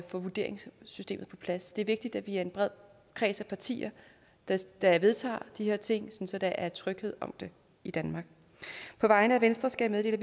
få vurderingssystemet på plads det er vigtigt at vi er en bred kreds af partier der vedtager de her ting sådan at der er tryghed om det i danmark på vegne af venstre skal jeg